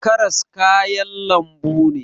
Karas kayan lambu ne